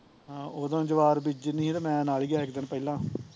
ਆਹੋ ਉਹਦੋ ਜਵਾਹਰ ਬੀਜਣੀ ਸੀ ਤੇ ਮੈਂ ਨਾਲ਼ ਹੀਂ ਗਿਆ ਇੱਕ ਦਿਨ ਪਹਿਲਾਂ